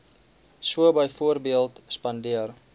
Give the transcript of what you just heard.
so byvoorbeeld spandeer